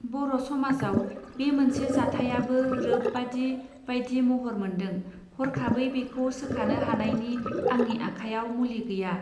बर' समाजाव बे मोनसे जाथायाबो रोब बादि बाइदि महर मोन्दों हरखाबै बेखौ सोखानो हानायनि आंनि आखायाव मुलि गैया.